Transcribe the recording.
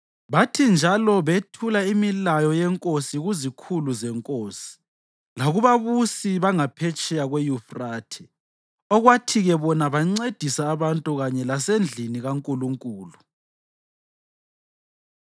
Bathi njalo bethula imilayo yenkosi kuzikhulu zenkosi lakubabusi bangaphetsheya kweYufrathe, okwathi-ke bona bancedisa abantu kanye lasendlini kaNkulunkulu.